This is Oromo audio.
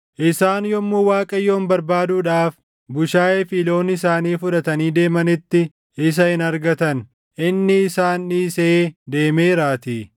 Isaan yommuu Waaqayyoon barbaaduudhaaf bushaayee fi loon isaanii fudhatanii deemanitti, isa hin argatan; inni isaan dhiisee deemeeraatii.